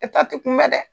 E ta te kunbɛ dɛ